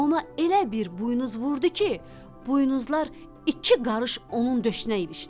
Ona elə bir buynuz vurdu ki, buynuzlar iki qarış onun döşünə ilişdi.